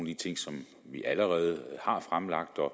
de ting som vi allerede har fremlagt og